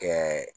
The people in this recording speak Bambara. Kɛ